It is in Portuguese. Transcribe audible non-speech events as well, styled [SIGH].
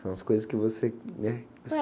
São as coisas que você, né? [UNINTELLIGIBLE]